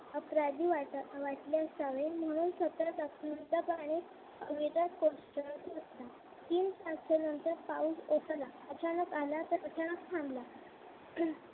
अपराधी वाटले असावे म्हणून सतत झुंजपणे कोसळत होता तीन तासानंतर ओसळला अचानक आला तर अचानक थांबला